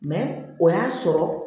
o y'a sɔrɔ